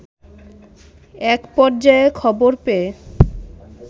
এক পর্যায়ে খবর পেয়ে